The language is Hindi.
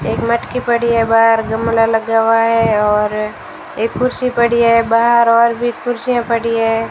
एक मटकी पड़ी है बाहर गमला लगा हुआ है और एक कुर्सी पड़ी है बाहर और भी कुर्सियां पड़ी है --